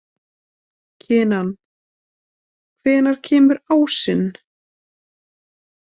Kinan, hvenær kemur ásinn?